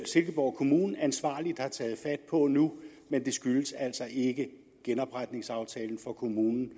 silkeborg kommune ansvarligt har taget fat på nu men det skyldes altså ikke genopretningsaftalen for kommunen